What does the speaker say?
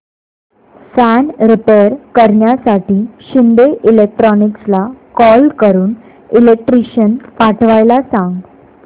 fan repair करण्यासाठी शिंदे इलेक्ट्रॉनिक्सला call करून इलेक्ट्रिशियन पाठवायला सांग